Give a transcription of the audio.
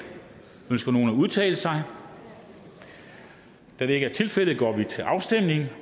ønsker nogen at udtale sig da det ikke er tilfældet går vi til afstemning